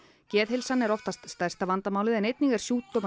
geðheilsan er oftast stærsta vandamálið en einnig er